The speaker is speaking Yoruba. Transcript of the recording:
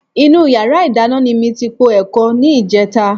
Inú yàrá ìdáná ni mi ti po ẹ̀kọ ní ìjẹta